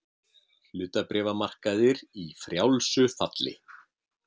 Hlutabréfamarkaðir í frjálsu falli